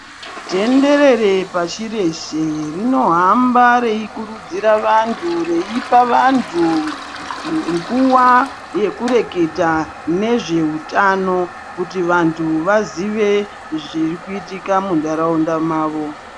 Tenderere pashi reshe rinohamba reikurudzira vantu, reipa vantu nguwa yekureketa nezveutano kuti vantu vazive zvirikuitika muntaraunda mavo.